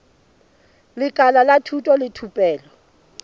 lekala la thuto le thupelo